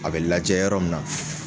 A bɛ lajɛ yɔrɔ min na